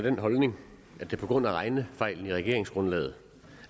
den holdning at det på grund af regnefejlen i regeringsgrundlaget